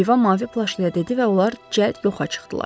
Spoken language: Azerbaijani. Oliva mavi plaşlıya dedi və onlar cəld yoxa çıxdılar.